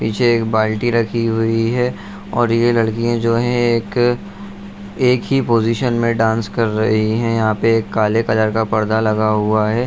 पीछे एक बाल्टी रखी हुई है और ये लड़कियाँ जो है एक एक ही पोजीशन में डांस कर रही हैं यहाँ पे एक काले कलर का पर्दा लगा हुआ है।